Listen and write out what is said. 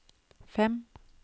fem